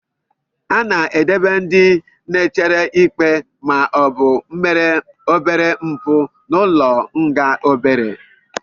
A na-edobe ndị na-echere ikpe ma ọ bụ mere obere mpụ n'ụlọ nga obere.